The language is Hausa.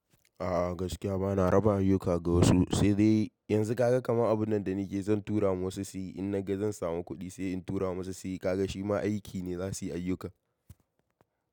A'a gaskiya bana raba ayyuka ga wasu, sai dai yanzu ka ga kamar abun nan da nake yi zan tura ma wasu su yi in na ga zan samu kuɗi sai in tura masu su yi. Ka ga shi ma aiki ne za su yi ayyuka.